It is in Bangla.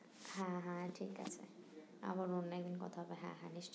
হ্যাঁ হ্যাঁ ঠিক আছে আবার অন্য একদিন কথা হবে হ্যাঁ হ্যাঁ নিস